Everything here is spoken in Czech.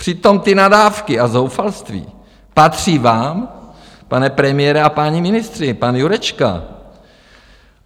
Přitom ty nadávky a zoufalství patří vám, pane premiére a páni ministři, pane Jurečko.